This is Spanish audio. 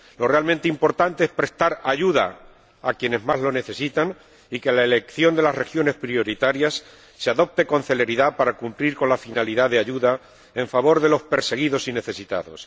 Lo realmente importante es prestar ayuda a quienes más lo necesitan y que la elección de las regiones prioritarias se haga con celeridad para cumplir con la finalidad de ayuda en favor de los perseguidos y necesitados.